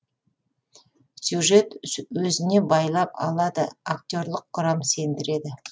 сюжет өзіне байлап алады актерлық құрам сендіреді